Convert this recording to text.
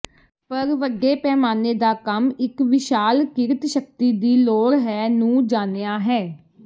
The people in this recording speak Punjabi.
ਪਰ ਵੱਡੇ ਪੈਮਾਨੇ ਦਾ ਕੰਮ ਇੱਕ ਵਿਸ਼ਾਲ ਕਿਰਤ ਸ਼ਕਤੀ ਦੀ ਲੋੜ ਹੈ ਨੂੰ ਜਾਣਿਆ ਹੈ